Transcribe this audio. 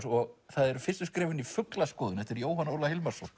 og það eru fyrstu skrefin í fuglaskoðun eftir Jóhann Óla Hilmarsson